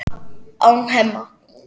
án Hemma.